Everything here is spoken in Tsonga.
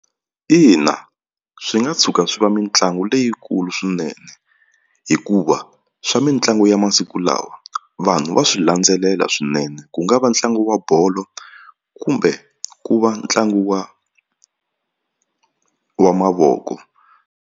Ina swi nga tshuka swi va mitlangu leyikulu swinene hikuva swa mitlangu ya masiku lawa vanhu va swi landzelela swinene ku nga va ntlangu wa bolo kumbe ku va ntlangu wa wa mavoko.